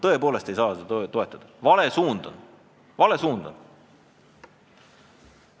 Tõepoolest ei saa toetada, sest vale suund on!